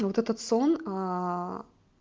вот этот сон